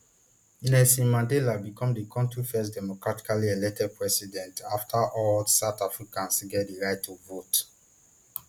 nelson mandela become di kontri first democratically elected president afta all south africans get di right to vote